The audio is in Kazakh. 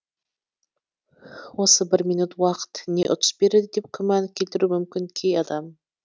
осы бір минут уақыт не ұтыс береді деп күмән келтіруі мүмкін кей адам